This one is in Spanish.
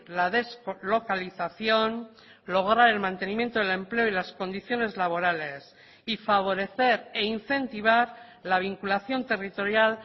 la deslocalización lograr el mantenimiento del empleo y las condiciones laborales y favorecer e incentivar la vinculación territorial